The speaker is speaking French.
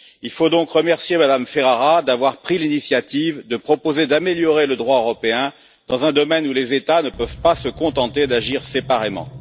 Il faut donc remercier Mme Ferrara d'avoir pris l'initiative de proposer d'améliorer le droit européen dans un domaine où les États ne peuvent pas se contenter d'agir séparément.